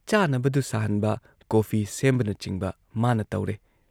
ꯆꯥꯅꯕꯗꯨ ꯁꯥꯍꯟꯕ, ꯀꯣꯐꯤ ꯁꯦꯝꯕꯅꯆꯤꯡꯕ ꯃꯥꯅ ꯇꯧꯔꯦ